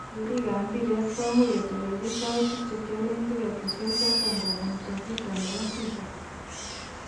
Keerik kab mbiret komuch kotelelchi soutik chekiolen tiketishe choton kobun toviti nebo fifa.